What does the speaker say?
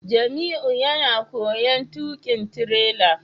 Jamiu yana koyon tukin tirela